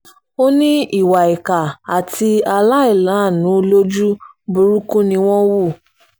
ó ní ìwà ìkà àti aláìláàánú lójú burúkú ni wọ́n hù